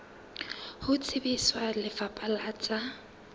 ho tsebisa lefapha la tsa